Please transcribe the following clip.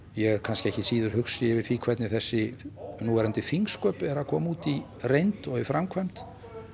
ég er kannski ekki síður hugsi yfir því hvernig þessi núverandi þingsköp eru að koma út í reynd og í framkvæmd